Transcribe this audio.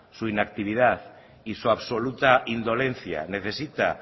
su inactividad y su absoluta indolencia necesita